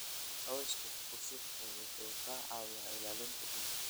Cawska ku shubta wuxuu ka caawiyaa ilaalinta ciidda.